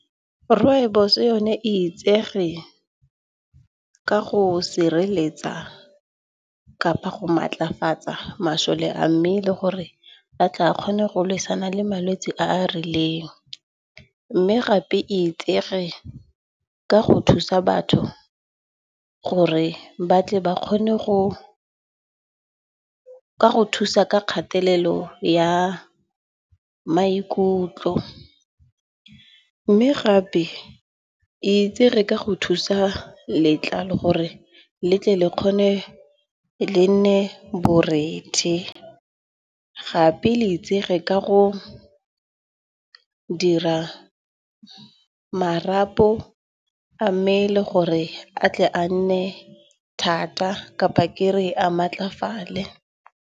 Rooibos yone itsege ka go sireletsa kapa go maatlafatsa masole a mmele, gore a tle a kgone go leswana le malwetse a a rileng. Mme gape e itsege ka go thusa batho gore ba tle ba kgone go thusa ka kgatelelo ya maikutlo. Mme gape itse reka go thusa letlalo gore le tle le kgone le nne borethe. Gape le itse re ka go dira marapo a mme le gore a tle a nne thata kapa ke re a maatlafalale.